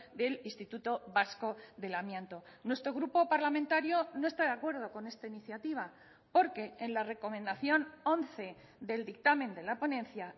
del instituto vasco del amianto nuestro grupo parlamentario no está de acuerdo con esta iniciativa porque en la recomendación once del dictamen de la ponencia